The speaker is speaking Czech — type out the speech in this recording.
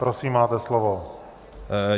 Prosím, máte slovo.